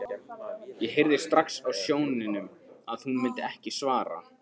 Ég heyrði strax á sóninum að hún myndi ekki svara.